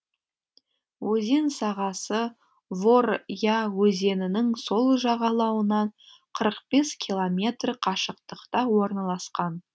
өзен сағасы вор я өзенінің сол жағалауынан қырық бес километр қашықтықта орналасқан